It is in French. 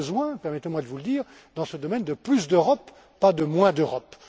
On a besoin permettez moi de vous le dire dans ce domaine de plus d'Europe, pas de moins d'Europe.